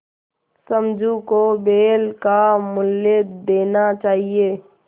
समझू को बैल का मूल्य देना चाहिए